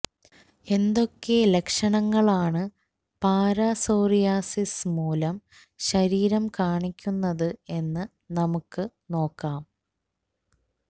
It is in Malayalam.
എന്തൊക്കെ ലക്ഷണങ്ങളാണ് പാരാസോറിയാസിസ് മൂലം ശരീരം കാണിക്കുന്നത് എന്ന് നമുക്ക് നോക്കാം